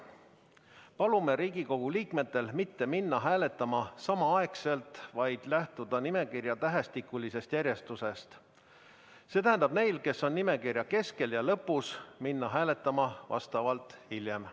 Palume Riigikogu liikmetel mitte minna hääletama samaaegselt, vaid lähtuda nimekirja tähestikulisest järjekorrast, see tähendab, et neil, kes on nimekirja keskel ja lõpus, tuleks minna hääletama vastavalt hiljem.